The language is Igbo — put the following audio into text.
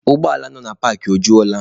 Ụgbọ ala nọ na paakị, o jula?